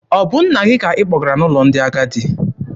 Ọ bụ nna gị ka ị kpọgara n'ụlọ ndị agadi?